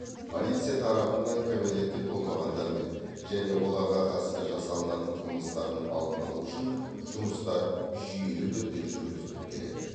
полиция тарапынан кәмелетке толмағандармен және оларға қатысты жасалынатын қылмыстардың алдын алу бойынша жұмыстар жүйелі түрде жүргізіліп келеді